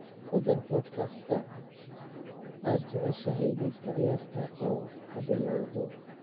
ku dar podcast-ka aad jeceshahay liiska ciyaarta oo ha bilowdo